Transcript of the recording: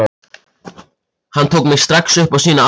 Hann tók mig strax upp á sína arma.